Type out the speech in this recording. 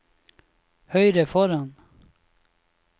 høyre foran